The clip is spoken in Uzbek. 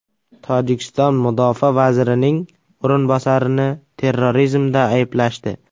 Tojikiston mudofaa vazirining o‘rinbosarini terrorizmda ayblashdi.